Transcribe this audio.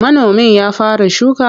Manomin ya fara shuka?